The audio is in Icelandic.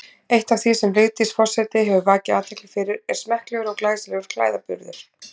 Eitt af því sem Vigdís forseti hefur vakið athygli fyrir er smekklegur og glæsilegur klæðaburður.